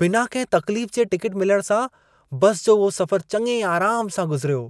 बिना कंहिं तकलीफ जे टिकेट मिलण सां बसि जो उहो सफ़रु चङे आराम सां गुज़िरियो।